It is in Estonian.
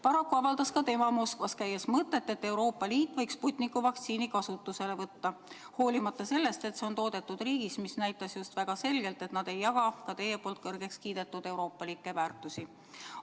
Paraku avaldas ka tema Moskvas käies mõtet, et Euroopa Liit võiks Sputniku vaktsiini kasutusele võtta – hoolimata sellest, et see on toodetud riigis, mis näitas just väga selgelt, et nad ei jaga teie kiidetud euroopalikke väärtusi.